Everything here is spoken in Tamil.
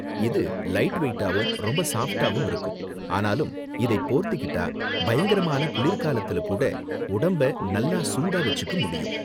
இது லைட் வெயிட்டாவும் ரொம்ப சாஃப்டாவும் இருக்கும், ஆனாலும் இதை போர்த்திக்கிட்டா பயங்கரமான குளிர்காலத்துல கூட உடம்ப நல்லா சூடா வெச்சுக்க முடியும்.